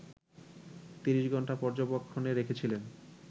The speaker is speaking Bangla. ৩০ ঘণ্টা পর্যবেক্ষণে রেখেছিলেন